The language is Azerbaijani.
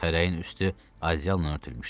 Xərəyin üstü ajalla örtülmüşdü.